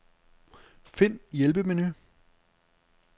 Find hjælpemenu.